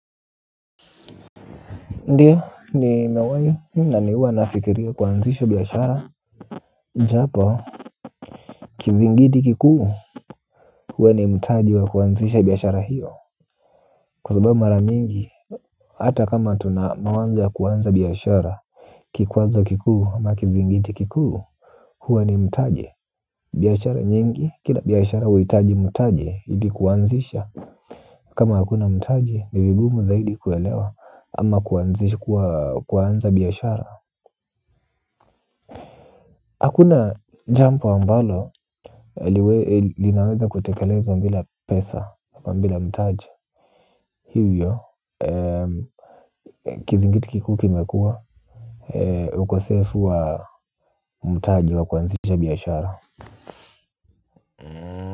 Ndiyo ni mewahi ni nani huwanafikiria kuanzisha biashara, japo, kizingiti kikuu, huwa ni mutaji wa kuanzisha biashara hiyo. Kwa sababu maramingi, hata kama tuna mawanza ya kuanza biashara, kikwaza kikuu ama kizingiti kikuu, huwa ni mutaji. Biashara nyingi, kila biashara uhitaji mutaji idi kuanzisha. Kama hakuna mutaji nivigumu zaidi kuelewa. Ama kuanzisha kuanza biashara hakuna jampo ambalo, linaweza kutekelezwa mbila pesa. Mbila mtaje. Hivyo, kizingiti kikuu kimekua, ukosefu wa mtaje wa kuanzisha biashara.